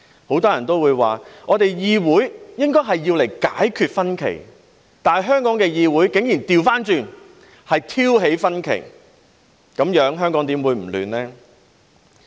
很多人也說，議會應該是用作解決分歧，但香港的議會竟然倒過來挑起分歧，這樣香港怎會不混亂？